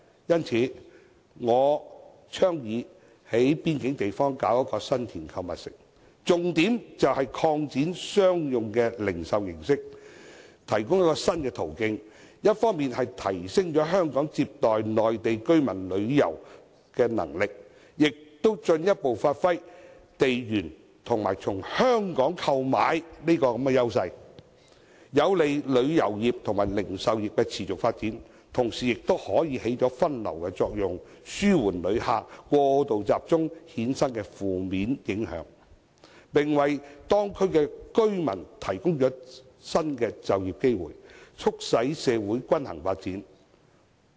因此，我倡議在邊境地方興建新田購物城，重點是透過擴展商用零售形式，提供一個新途徑，一方面提升香港接待內地居民旅遊的能力，也進一步發揮地緣及"從香港購買"的優勢，在有利旅遊業和零售業持續發展的同時，亦可發揮分流作用，紓緩因內地旅客過度集中而衍生的負面影響，並為當區居民提供新的就業機會，促使社會均衡發展。